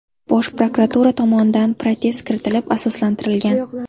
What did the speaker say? Bosh prokuratura tomonidan protest kiritilib, asoslantirilgan.